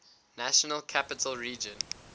national capital region